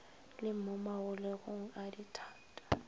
le mo magologelong a dithata